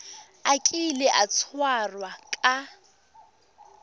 a kile a tshwarwa ka